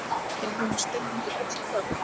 Ég er búin að skrifa undir öll plögg.